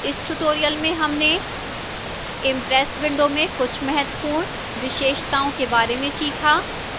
इस tutorial में हमने impress window में कुछ महत्वपूर्ण विशेषताओं के बारे में सीखा